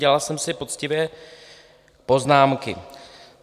Dělal jsem si poctivě poznámky.